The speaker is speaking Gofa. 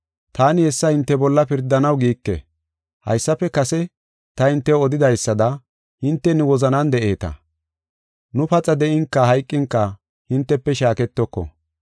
Taani hessa hinte bolla pirdanaw giike. Haysafe kase ta hintew odidaysada, hinte nu wozanan de7eeta; nu paxa de7inka hayqinka hintefe shaaketoko.